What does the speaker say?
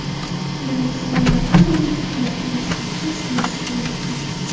Biroq saylovlardan oldin hukumatni boshqarishni istamasligini aytgan.